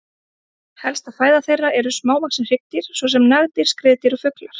Helsta fæða þeirra eru smávaxin hryggdýr svo sem nagdýr, skriðdýr og fuglar.